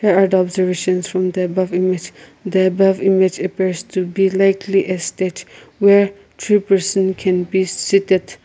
there are the observations from the above image the above image appears to be likely a stage where two person can be seated.